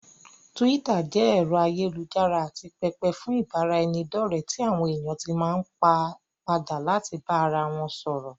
Túwítà jẹ́ ẹ̀rọ ayélujára àti pẹpẹ fún ìbáraẹnidọ́ọ̀rẹ́ tí àwọn èèyàn tí máa n padà láti bá ara wọn sọ̀rọ̀